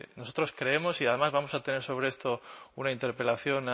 nosotros creemos y además vamos a tener sobre esto una interpelación